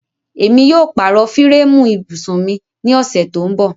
Émi yóò pàró fírẹẹmu íbusun mi ni ọṣẹ tó nbọ̀.